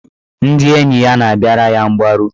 Ndị enyi ya na-abịara ya mgbaru.